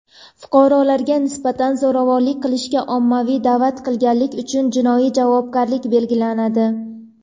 fuqarolarga nisbatan zo‘ravonlik qilishga ommaviy da’vat qilganlik uchun jinoiy javobgarlik belgilanadi.